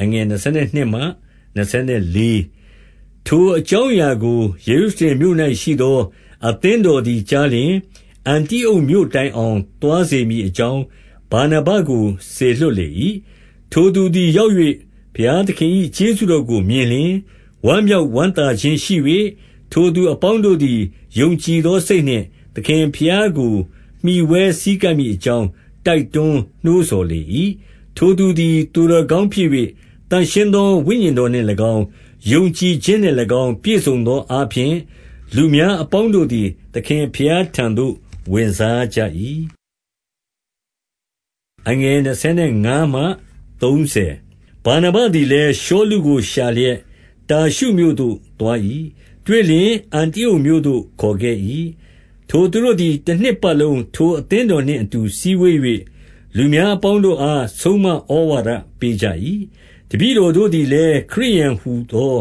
22 ထိုအကြောင်းအရာကို ယေရုရှလင်မြို့၌ရှိသော အသင်းတော် သည်ကြားလျှင်၊ အန္တိအုတ်မြို့တိုင် အောင် သွားစေမည်အကြောင်း ဗာနဗ ကိုစေလွှတ်လေ၏။ 23 ထိုသူသည် ရောက်၍ ဘုရားသခင်၏ ကျေးဇူး တော်ကို မြင်လျှင် ဝမ်းမြောက်ဝမ်းသာခြင်းရှိ၍ ထိုသူအပေါင်းတို့သည် ယုံကြည်သောစိတ်နှင့် သခင်ဘုရားကို မှီဝဲဆည်းကပ်မည်အကြောင်း တိုက်တွန်း နှိုးဆော်လေ၏။ 24 ထိုသူသည် သူတော်ကောင်းဖြစ်၍၊ သန့်ရှင်းသော ဝိညာဉ်တော်နှင့်၎င်း၊ ယုံကြည်ခြင်းနှင့်၎င်း၊ ပြည့်စုံသောအားဖြင့်၊ လူများအပေါင်းတို့သည် သခင်ဘုရားထံသို့ ဝင်စားကြ၏။ 25 ဗာနဗသည်လည်း ရှောလုကို ရှာလျက် တာရှုမြို့သို့သွား၏။ တွေ့လျှင်အန္တိအုတ်မြို့သို့ခေါ်ခဲ့၏။ 26 ထိုသူတို့သည် တနှစ်ပတ်လုံး ထိုအသင်းတော်နှင့်အတူ စည်းဝေး၍၊ လူများအပေါင်းတို့အား ဆုံးမဩဝါဒ ပေးကြ၏။ တပည့်တော်တို့သည်လည်း ခရစ်ယာန်ဟူသော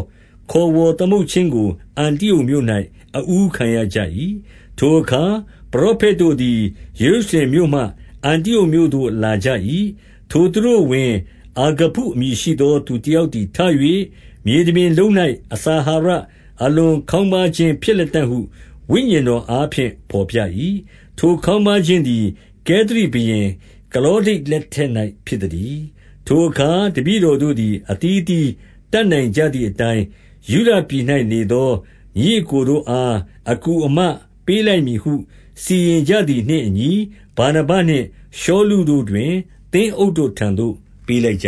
ခေါ်ဝေါ်သမုတ်ခြင်းကို အန္တိအုတ်မြို့၌ အဦးခံရကြ၏။ 27 ထိုအခါ၌ ပရောဖက်တို့သည် ယေရုရှလင်မြို့မှ အန္တိအုတ်မြို့ သို့လာကြ၏။ 28 ထိုသူတို့အဝင်၊ အာဂဗုအမည်ရှိသော သူ တယောက်သည်ထ၍၊ မြေတပြင်လုံး၌ အစာ အာဟာရ အလွန်ခေါင်းပါးခြင်းဖြစ်လတံ့ဟု ဝိညာဉ်တော်အားဖြင့် ဘော်ပြ၏။ ထိုခေါင်းပါးခြင်းသည် ကဲသာဘုရင် ကလောဒိ လက်ထက်၌ဖြစ်သတည်း။ 29 ထိုအခါ တပည့်တော်တို့သည် အသီးအသီး တတ်နိုင်ကြသည်အတိုင်း၊ ယုဒပြည်၌နေသော ညီအစ်ကို တို့အား အကူအမပေးလိုက် မည်ဟု၊ 30 စီရင်ကြသည်နှင့်အညီ ဗာနဗနှင့်ရှောလုတို့တွင် သင်းအုပ်တို့ ထံသို့ပေးလိုက်ကြ